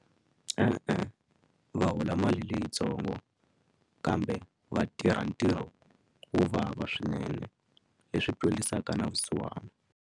E-e va hola mali leyintsongo kambe va tirha ntirho wo vava swinene leswi twelisaka na vusiwana.